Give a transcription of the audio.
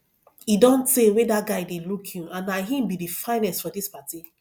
e don tey wey dat guy dey look you and na him be the finest for dis party